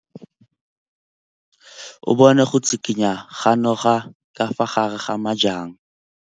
O bone go tshikinya ga noga ka fa gare ga majang.